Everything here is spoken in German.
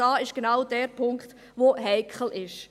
Da ist genau der Punkt, der heikel ist.